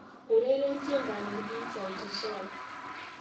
ureren tiendanyun eng sauti sol